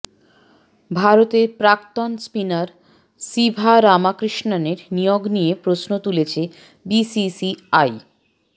ভারতের প্রাক্তন স্পিনার সিভারামাকৃষ্ণনের নিয়োগ নিয়ে প্রশ্ন তুলেছে বিসিসিআই